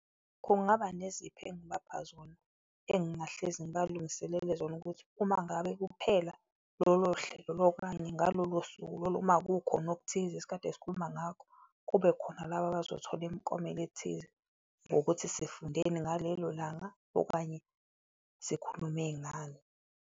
Kungaba nezipho engibapha zona, engingahlezi ngibalungiselele zona ukuthi umangabe kuphela lolo hlelo okanye ngalolo suku lolo uma kukhona okuthize esikade sikhuluma ngakho, kubekhona laba abazothola imiklomelo ethize ngokuthi sifundeni ngalelo langa okanye sikhulume ngani.